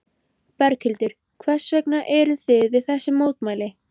Berghildur: Hvers vegna eruð þið við þessi mótmæli?